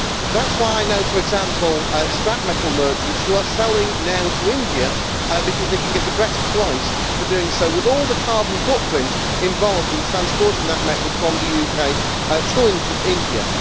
That is why I know, for example, scrap metal merchants who are selling now to India because they can get a better price for doing so, even with all the carbon footprint involved in transporting that metal from the UK to India.